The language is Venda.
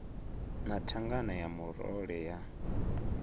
na thangana ya murole ya